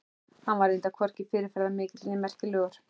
Hann var reyndar hvorki fyrirferðarmikill né merkilegur.